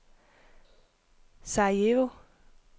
Sarajevo